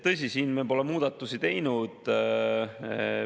Tõsi, siin me pole muudatusi teinud.